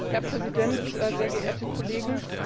Herr Präsident, sehr geehrte Kollegen!